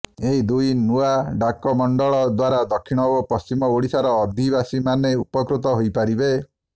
ଏହି ଦୁଇ ନୂଆ ଡାକମଣ୍ଡଳ ଦ୍ବାରା ଦକ୍ଷିଣ ଓ ପଶ୍ଚିମ ଓଡ଼ିଶାର ଅଧିବାସୀମାନେ ଉପକୃତ ହୋଇପାରିବେ